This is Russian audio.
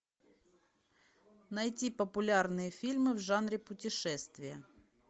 найти популярные фильмы в жанре путешествия